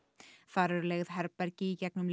þar eru leigð herbergi í gegnum